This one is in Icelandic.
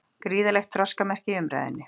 Gríðarlegt þroskamerki í umræðunni